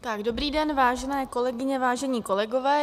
Dobrý den, vážené kolegyně, vážení kolegové.